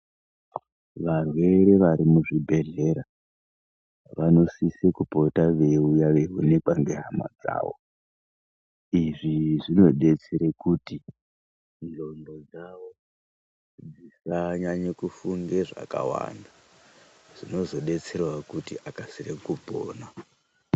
Varwere vari muzvibhedhlera vanosise kupota veiuya veionekwa ngehama dzawo izvi zvinodetsera kuti ndxondo dzawo dzisanyanya kufunge zvakawanda zvinozodetserawo kuti akasire kupona.